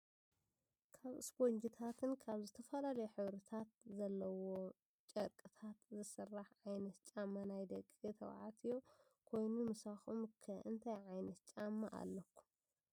ካብ እስቦንጅታትን ካብ ዝተፈላለዩ ሕብርታት ዘለዎም ጨርቅታት ዝስራሕ ዓይነት ጫማ ናይ ደቂ ተባዕትዮ ኮይኑ ምሳኩም ከ እንታይ ዓይነት ጫማ ኣለኩም?